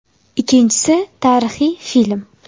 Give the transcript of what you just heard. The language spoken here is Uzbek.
Ikkinchisi, tarixiy film.